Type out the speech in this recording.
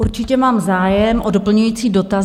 Určitě mám zájem o doplňující dotaz.